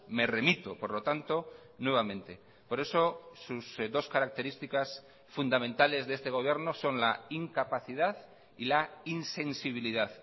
me remito por lo tanto nuevamente por eso sus dos características fundamentales de este gobierno son la incapacidad y la insensibilidad